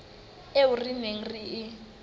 eo re neng re e